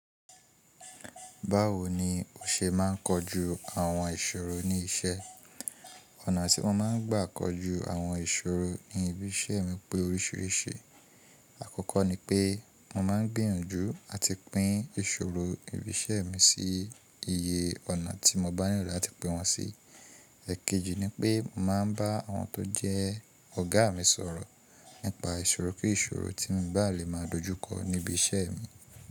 Báwo ni o ṣe máa ń kojú àwọn ìṣòro ní iṣẹ́? Ọ̀nà tí mo máa ń gbà kojú àwọn ìṣòro ní ibi iṣẹ́ mi pé oríṣiríṣi. Àkọ́kọ́ ni pé mo máa ń gbìyànjú àti pín ìṣòro ibi iṣẹ́ mi sí iye ọ̀nà tí mo bá nílò láti pín wọn sí. Ẹ̀kejì ni pé mo máa ń bá àwọn tó jẹ́ ọ̀gá mi sọ̀rọ̀ nípa ìṣòro kí ìṣòro tí n bá lè máa dojúkọ níbi iṣẹ́ mi.